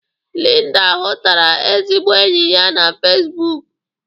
Linda hutara ezigbo enyi ya na fezibuku.